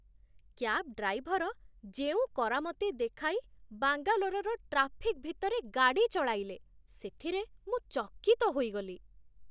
Cab driver ଯେଉଁ କରାମତି ଦେଖାଇ ବାଙ୍ଗାଲୋରରେ ଟ୍ରାଫିକ୍ ଭିତରେ ଗାଡ଼ି ଚଳାଇଲେ, ସେଥିରେ ମୁଁ ଚକିତ ହୋଇଗଲି।